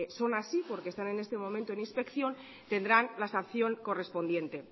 son así porque están en este momento en inspección tendrán la sanción correspondiente